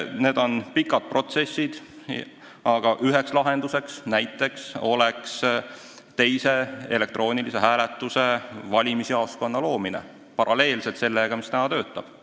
Need on pikad protsessid, aga üks lahendus oleks teise elektroonilise hääletuse valimisjaoskonna loomine – paralleelselt sellega, mis praegu töötab.